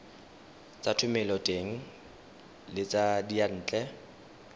tsa thomeloteng le tsa diyantle